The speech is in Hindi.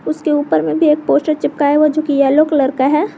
उसके ऊपर में भी एक पोस्टर चिपकाया हुआ जो कि येलो कलर का है।